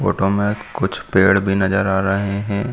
Photo मे कुछ पेड़ भी नज़र आ रहे हैं।